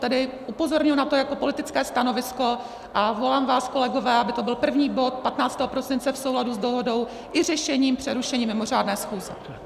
Tedy upozorňuji na to jako politické stanovisko a volám vás, kolegové, aby to byl první bod 15. prosince v souladu s dohodou i řešením přerušení mimořádné schůze.